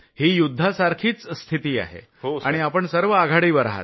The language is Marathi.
ही युद्धासारखीच स्थिती आहे आणि आपण सर्व आघाडीवर आहात